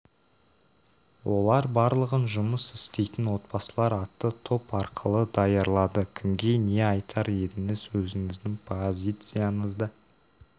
олар барлығын жұмыс істейтін отбасылар атты топ арқылы даярлады кімге не айтар едіңіз өзіңіздің позицияңызды